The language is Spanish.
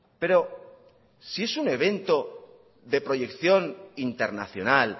pero si es un evento de proyección internacional